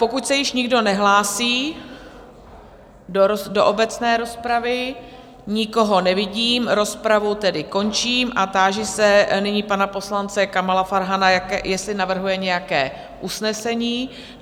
Pokud se již nikdo nehlásí do obecné rozpravy - nikoho nevidím, rozpravu tedy končím a táži se nyní pana poslance Kamala Farhana, jestli navrhuje nějaké usnesení?